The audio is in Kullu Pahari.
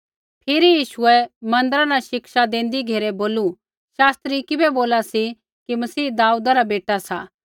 फिरी यीशुऐ मन्दिरा न शिक्षा देंदी घेरै बोलू शास्त्री किबै बोला सी कि मसीह दाऊदा रा बेटा सा